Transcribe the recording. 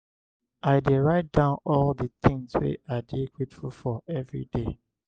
i dey write down all di tins wey i dey grateful for everyday.